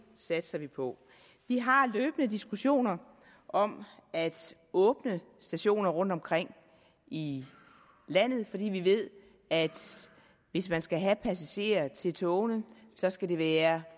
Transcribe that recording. satser vi på vi har løbende diskussioner om at åbne stationer rundt omkring i landet fordi vi ved at hvis man skal have passagerer til togene skal der være